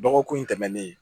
Dɔgɔkun in tɛmɛnen